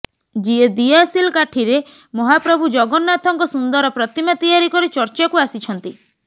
ଯିଏ ଦିଆସିଲ୍ କାଠିରେ ମହାପ୍ରଭୁ ଜଗନ୍ନାଥଙ୍କ ସୁନ୍ଦର ପ୍ରତିମା ତିଆରି କରି ଚର୍ଚ୍ଚାକୁ ଆସିଛନ୍ତି